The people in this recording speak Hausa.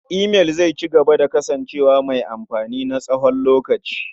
Imail zai cigaba da kasancewa mai amfani na tsawon lokaci.